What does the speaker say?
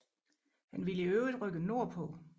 Han ville i øvrigt rykke nordpå